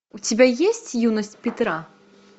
у тебя есть юность петра